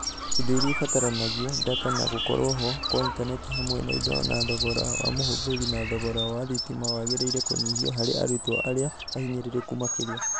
Indo iria ibataranagia, ndata, na gũkorwo-ho kwa intaneti hamwe na indo na thogora wa mũhũthĩri na thogora wa thitima wagĩrĩire kũnyihio harĩ arutwo arĩa ahinyĩrĩrĩku Makĩria.